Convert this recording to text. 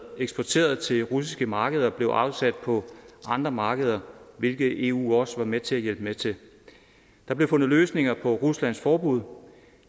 eksporteret til russiske markeder blev afsat på andre markeder hvilket eu også var med til at hjælpe med til der blev fundet løsninger på ruslands forbud